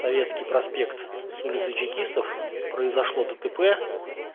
советский проспект с улицы чекистов произошло дтп